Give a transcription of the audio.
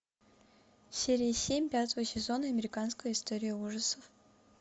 серия семь пятого сезона американская история ужасов